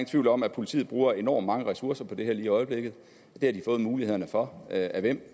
tvivl om at politiet bruger enormt mange ressourcer på det her lige i øjeblikket det har de fået muligheden for af hvem